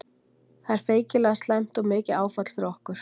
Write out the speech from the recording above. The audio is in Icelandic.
Það er feikilega slæmt og mikið áfall fyrir okkur.